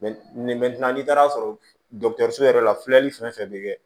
nin n'i taara sɔrɔ yɛrɛ la fiyɛli fɛn fɛn bɛ kɛ